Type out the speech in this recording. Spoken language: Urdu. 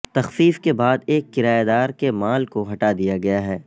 تخفیف کے بعد ایک کرایہ دار کے مال کو ہٹا دیا گیا ہے